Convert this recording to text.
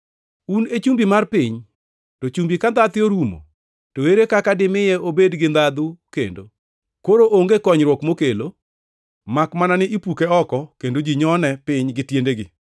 “Un e chumbi mar piny. To chumbi ka ndhathe orumo, to ere kaka dimiye obed gi ndhathe kendo? Koro onge konyruok mokelo, makmana ni ipuke oko kendo ji nyone piny gi tiendegi.